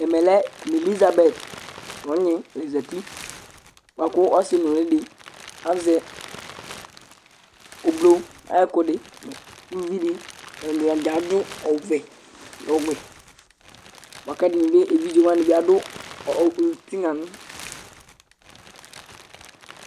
ɛmɛ lɛ elisabɛt nu ɔgni la zati, bʋa ku ɔsi nuli di azɛ ublu ayi ɛkʋɛdi, uluvi di ata ni dza adu ɔvɛ nu ɔwɛ bʋa ku ɛdini bi evidze wʋani bi adu ɔ tigna nu